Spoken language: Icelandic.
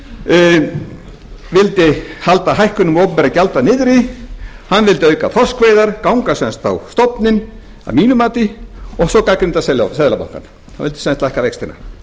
vildi halda hækkunum opinberra gjalda niðri hann vildi auka þorskveiðar ganga sem sagt á stofninn að mínu mati og svo gagnrýndi hann seðlabankann hann vildi sem sagt lækka vextina